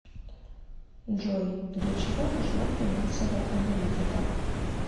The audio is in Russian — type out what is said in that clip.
джой для чего нужна финансовая аналитика